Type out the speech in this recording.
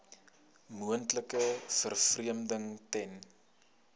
moontlike vervreemding ten